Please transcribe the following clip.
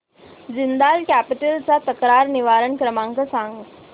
Jindal capital चा तक्रार निवारण क्रमांक सांग